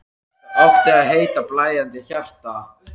Það átti að heita: Blæðandi hjarta.